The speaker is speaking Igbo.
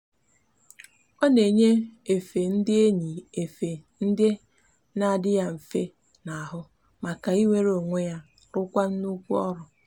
o n'eyi efe ndi n'eyi efe ndi n'adi ya nfe n'ahu maka inwere onwe ya rukwa nnukwu oru